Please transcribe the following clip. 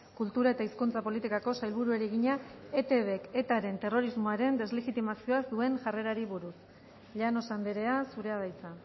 kultura eta hizkuntza politikako sailburuari egina etbk etaren terrorismoaren deslegitimazioaz duen jarrerari buruz llanos andrea zurea da hitza